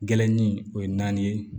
Gɛrɛnin o ye naani ye